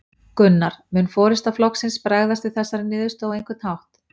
Gunnar: Mun forysta flokksins bregðast við þessari niðurstöðu á einhvern hátt?